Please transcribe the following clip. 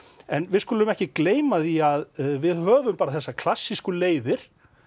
en við skulum ekki gleyma því að við höfum bara þessar klassísku leiðir